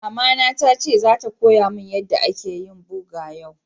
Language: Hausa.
Mama na ta ce zata koya mun yadda ake yin boga yau.